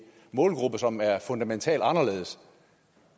målgruppe som er fundamentalt anderledes